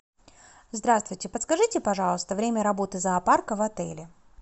здравствуйте подскажите пожалуйста время работы зоопарка в отеле